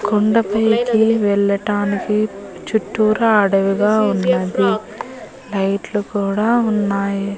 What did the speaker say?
కొండపైకీ వెళ్ళటానికి చుట్టురా అడవిగా ఉన్నది లైట్లు కూడా ఉన్నాయి.